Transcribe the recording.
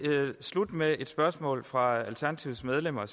slutte med et spørgsmål fra alternativets medlemmer